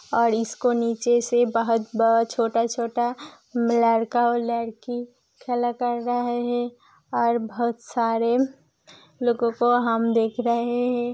और इसको नीचे से बहुत बहुत छोटा-छोटा लड़का और लड़की खेला कर देख रहे है और बहुत सारे लोगों को हम देख रहे है।